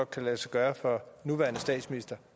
kan lade sig gøre for nuværende statsminister